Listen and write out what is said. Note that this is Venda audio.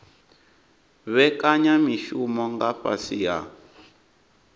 vhekanya mishumo nga fhasi ha